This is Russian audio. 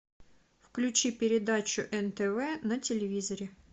включи передачу нтв на телевизоре